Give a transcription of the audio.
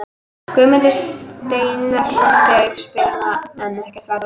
Guðmundur Steinarsson átti aukaspyrnuna en ekkert varð úr henni.